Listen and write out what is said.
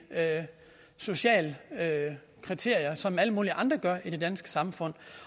sociale kriterier som alle mulige andre i det danske samfund